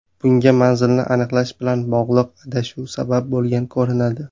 Bunga manzilni aniqlash bilan bog‘liq adashuv sabab bo‘lgan ko‘rinadi.